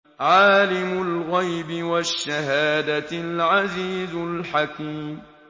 عَالِمُ الْغَيْبِ وَالشَّهَادَةِ الْعَزِيزُ الْحَكِيمُ